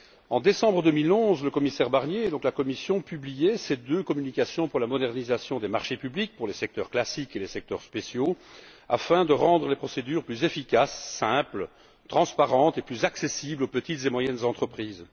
En décembre 2011, le commissaire Barnier, et donc la Commission, publiait deux communications pour la modernisation des marchés publics, pour les secteurs classiques et les secteurs spéciaux, afin de rendre les procédures plus efficaces, simples, transparentes et plus accessibles aux petites et moyennes entreprises.